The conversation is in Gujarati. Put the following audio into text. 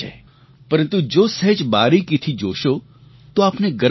પરંતુ જો સહેજ બારીકીથી જોશો તો આપને ગર્વ થશે